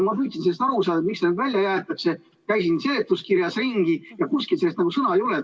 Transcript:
Ma püüdsin aru saada, miks see välja jäetakse, käisin seletuskirjas ringi, aga kuskil selle kohta sõnagi ei ole.